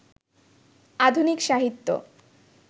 আধুনিক সাহিত্য